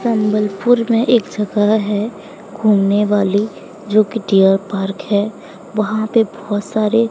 संबलपुर में एक जगह है घूमने वाली जो की डियर पार्क है वहां पे बहोत सारे--